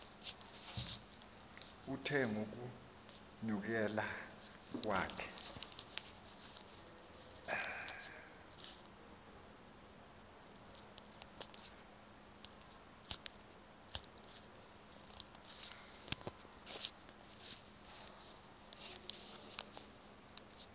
uthe ngokunyukela kwakhe